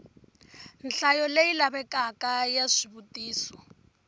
nhlayo leyi lavekaka ya swivutiso